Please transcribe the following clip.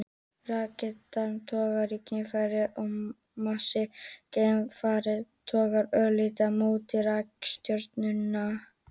Reikistjarna togar í geimfarið en massi geimfarsins togar örlítið á móti í reikistjörnuna.